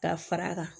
Ka fara a kan